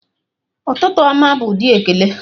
Ụtụtụ ọma' bụ ụdị ekele